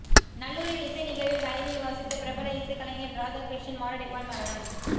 நல்லூரில் இசை நிகழ்வில் வயலின் வாசித்த பிரபல இசைக் கலைஞர் இராதாகிருஷ்ணன் மாரடைப்பால் மரணம்